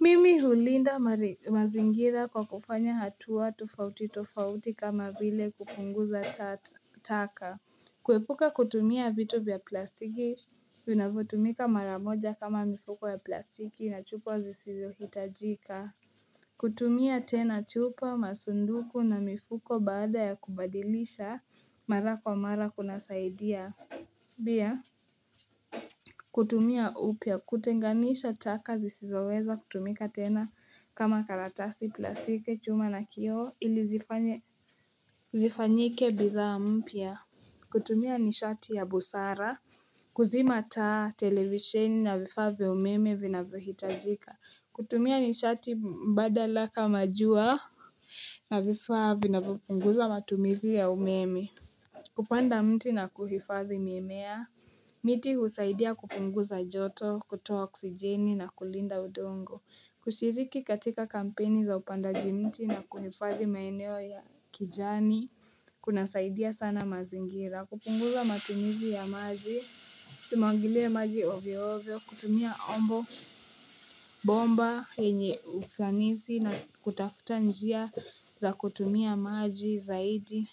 Mimi hulinda mazingira kwa kufanya hatua tofauti tofauti kama vile kupunguza taka. Kuepuka kutumia vitu vya plastiki vinafotumika maramoja kama mifuko ya plastiki na chupa zisizohitajika. Kutumia tena chupa masunduku na mifuko baada ya kubadilisha mara kwa mara kunasaidia. Bia. Kutumia upia kutenganisha taka zisizoweza kutumika tena kama karatasi plastike chuma na kioo ili zifanyike bidhaa mpia kutumia nishati ya busara kuzima taa televisheni na vifaa vya umeme vinavohitajika kutumia nishati mbadala kama jua na vifaa vinavopunguza matumizi ya umeme kupanda mti na kuhifadhi miemea miti husaidia kupunguza joto, kutoa oksijeni na kulinda udongo kushiriki katika kampeni za upandaji mti na kuhifadhi maeneo ya kijani kunasaidia sana mazingira kupunguza matumizi ya maji Tumagile maji ovyo ovyo, kutumia ombo bomba enye ufanisi na kutafuta njia za kutumia maji zaidi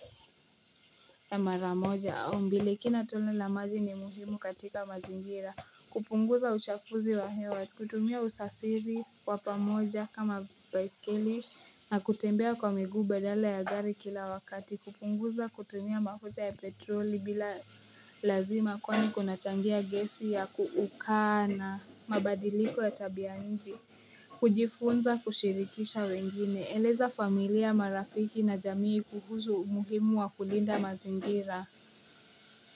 ya maramoja au mbili kila tone la maji ni muhimu katika mazingira kupunguza uchafuzi wa hewa, kutumia usafiri wapamoja kama baisikeli na kutembea kwa miguu baadala ya gari kila wakati, kupunguza kutumia mafuta ya petroli bila lazima kwani kunachangia gesi ya kuukana, mabadiliko ya tabianji, kujifunza kushirikisha wengine, eleza familia marafiki na jamii kuhuzu umuhimu wa kulinda mazingira.